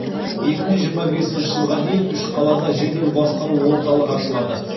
екі мың жиырма бесінші жылға дейін үш қалада жедел басқару орталығы ашылады